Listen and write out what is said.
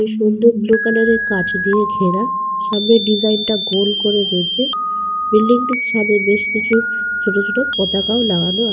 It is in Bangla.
খুব সুন্দর বুলু কালার এর কাঁচ দিয়ে ঘেরা। সামনে ডিসাইন টা গোল করে রয়েছে। বিল্ডিং টির ছাদে বেশ কিছু ছোট ছোট পতাকাও লাগানো আ--